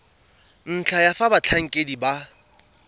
ntlha ya fa batlhankedi ba